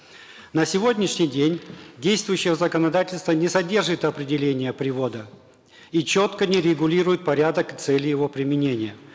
на сегодняшний день действующее законодательство не содержит определения привода и четко не регулирует порядок цели его применения